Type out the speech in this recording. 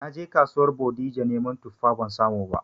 Naje kasuwar Bodija neman tuffa ban samu ba